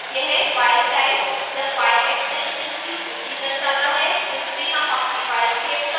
यह file types या file extensions की सूची दर्शाता है जिसमें हम अपनी file सेव कर सकते हैं